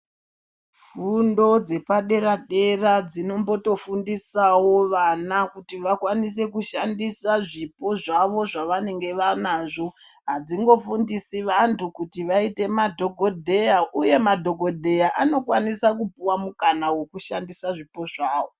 Fundo dzepadera dera dzinombotofundisawo vana kuti vakwanise kushandisa zvipo zvavo zvavanenge vanazvo adzingofundisi vantu kuti vaite madhokodheya uye madhokodheya anokwanisa kupuwa mukana wokushandisa zvipo zvavo.